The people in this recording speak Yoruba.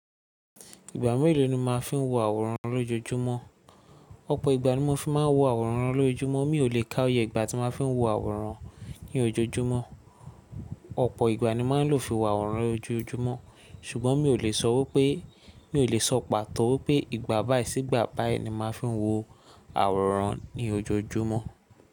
Ìgbà mélòó ni o máa n fi wo àwòrán lójoójúmọ́? Ọ̀pọ̀ ìgbà ni mo fi máa ń wo àwòrán lójoójúmọ́, mi ò lè ká oyè ìgbà tí mo fi ń wo àwòrán ní ojoojúmọ́. Ọ̀pọ̀ ìgbà ni mà ń lò fi wo àwòrán lójoójúmọ́, ṣùgbọ́n mi ò lè sọ wí pé, mi ò lè sọ pàtó pé ìgbà báyi sí ìgbà báyi ni màá fi ń wo àwòrán ní ojoojúmọ́.